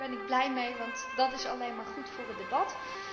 Ook daar ben ik blij mee, want dat is alleen maar goed voor het debat.